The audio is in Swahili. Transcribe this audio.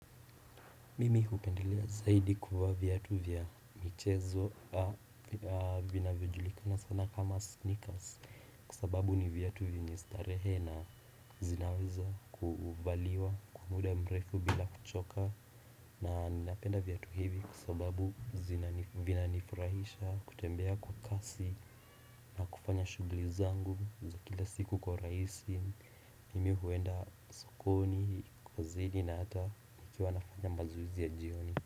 Mimi hupendelea zaidi kuvaa viatu vya michezo vinavyojulikana sana kama sneakers. Kwa sababu ni viatu vyenye starehe na zinaweza kuvaliwa kwa muda mrefu bila kuchoka. Na napenda viatu hivi kwa sababu vinanifurahisha kutembea kwa kasi na kufanya shughuli zangu za kila siku kwa urahisi. Mimi huenda sokoni, kozidi na hata nikiwa nafanya mazoezi ya jioni.